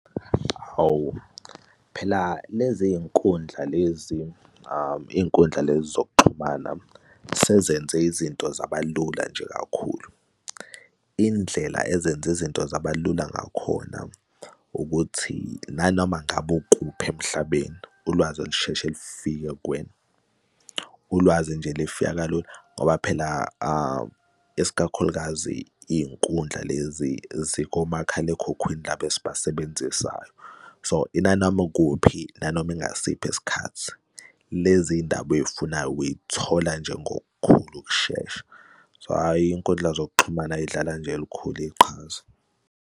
Hawu, phela lezinkundla lezi iy'nkundla lezi zokuxhumana sezenze izinto zabalula nje kakhulu. Indlela ezenza izinto zabalula ngakhona ukuthi nanoma ngabe ukuphi emhlabeni ulwazi lusheshe lifike kuwena, ulwazi nje lifika kalula ngoba phela iskakhulukazi iy'nkundla lezi zikomakhalekhukhwini laba esibasebenzisayo. So inanoma ikuphi, nanoma ingasiphi isikhathi lezi ndaba oy'funayo uy'thola nje ngokukhulu ukushesha. So hhayi, iy'nkundla zokuxhumana zidlala nje elikhulu iqhaza.